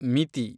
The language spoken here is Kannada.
ಮಿತಿ